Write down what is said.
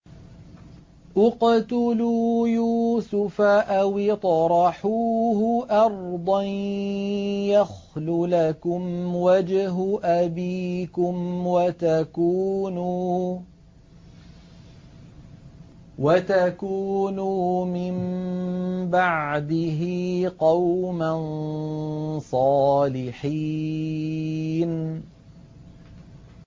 اقْتُلُوا يُوسُفَ أَوِ اطْرَحُوهُ أَرْضًا يَخْلُ لَكُمْ وَجْهُ أَبِيكُمْ وَتَكُونُوا مِن بَعْدِهِ قَوْمًا صَالِحِينَ